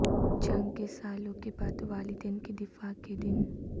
جنگ کے سالوں کے بعد والدین کے دفاع کے دن